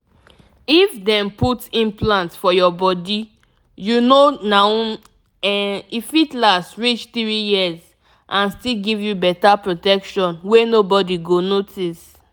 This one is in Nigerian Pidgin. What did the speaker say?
if dem put implant for your bodyyou know naum e fit last reach three years and still give you better protection wey nobody go notice.